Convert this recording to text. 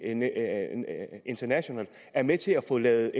international er med til at få lavet